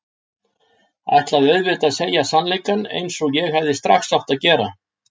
Ætlaði auðvitað að segja sannleikann eins og ég hefði strax átt að gera.